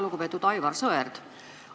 Lugupeetud Aivar Sõerd!